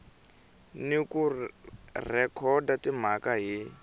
ni ku rhekhoda timhaka hi